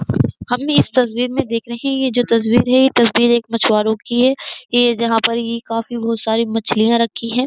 हम भी इस तस्वीर में देख रहे है। ये जो तस्वीर है ये तस्वीर एक मछुवारों की हैं। ये जहां पर ये काफी बोहोत सारे मछलियां रखी हैं।